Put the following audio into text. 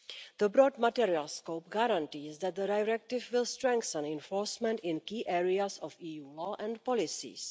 The broad material scope guarantees that the directive will strengthen enforcement in key areas of EU law and policies.